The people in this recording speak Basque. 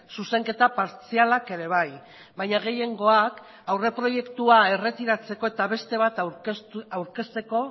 zuzenketa partzialak ere bai baina gehiengoak aurreproiektua erretiratzeko eta beste bat aurkezteko